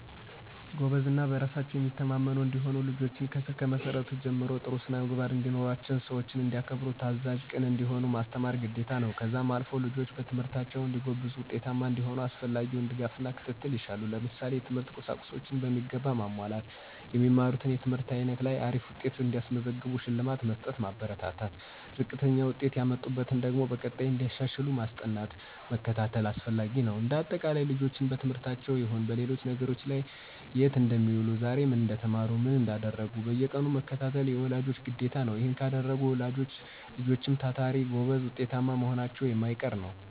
ጎበዝ እና በራሳቸው የሚተማመኑ እንዲሆኑ ልጆችን ከስር መሰረቱ ጀምሮ ጥሩ ስነምግባርን እንዲኖራቸው ሰዎችን እንዲያከብሩ ታዛዥ፣ ቅን እንዲሆኑ ማስተማር ግዴታ ነው። ከዛም አልፎ ልጆች በትምህርታቸው እንዲጎብዙ ውጤታማ እንዲሆኑ አስፈላጊውን ድጋፍና ክትትል ይሻሉ። ለምሳሌ፦ የትምህርት ቁሳቁሶችን በሚገባ ማሟላት። የሚማሩት ትምህርት አይነት ላይ አሪፍ ውጤት ሲያስመዘግቡ ሽልማት በመስጠት ማበረታታት፣ ዝቅተኛ ውጤት የሚያመጡበትን ደግሞ በቀጣይ እንዲያሻሽሉ ማስጠናት መከታተል አስፈላጊ ነው። እንደ አጠቃላይ ልጆችን በትምህርታቸውም ይሁን በሌሎች ነገሮች ላይ የት እንደሚውሉ ዛሬ ምን እንደተማሩ ምን እንዳደረጉ በየቀኑ መከታተል የወላጅ ግዴታ ነው። ይሔን ካደረጉ ወላጆች ልጆችም ታታሪ፣ ጎበዝ ውጤታማ መሆናቸው የማይቀር ነው።